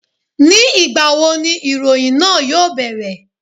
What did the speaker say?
Ní ìgbà wo ni ìròyìn náà yóò bẹ̀rẹ̀?